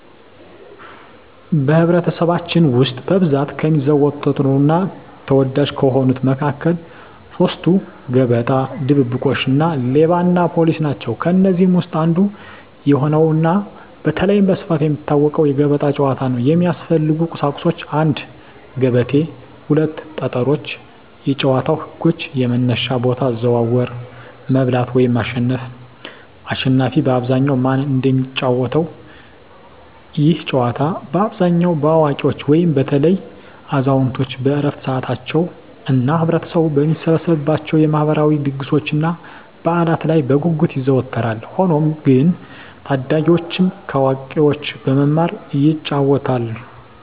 በኅብረተሰባችን ውስጥ በብዛት ከሚዘወተሩና ተወዳጅ ከሆኑት መካከል ሦስቱ፤ ገበጣ፣ ድብብቆሽ እና ሌባና ፖሊስ ናቸው። ከእነዚህ ውስጥ አንዱ የሆነውና በተለይም በስፋት የሚታወቀው የገበጣ ጨዋታ ነው። የሚያስፈልጉ ቁሳቁሶች 1; ገበቴ 2; ጠጠሮች የጨዋታው ህጎች - የመነሻ ቦታ፣ አዘዋወር፣ መብላት (ማሸነፍ)፣አሽናፊ በአብዛኛው ማን እንደሚጫወተው፤ ይህ ጨዋታ በአብዛኛው በአዋቂዎች (በተለይም አዛውንቶች በዕረፍት ሰዓታቸው) እና ህብረተሰቡ በሚሰበሰብባቸው የማህበራዊ ድግሶችና በዓላት ላይ በጉጉት ይዘወተራል። ሆኖም ግን ታዳጊዎችም ከአዋቂዎች በመማር ይጫወቱታል።